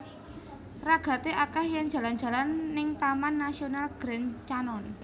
Ragate akeh yen jalan jalan ning Taman Nasional Grand Canyon